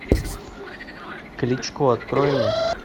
кличко открой мне